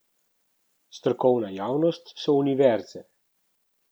Strokovna javnost so univerze.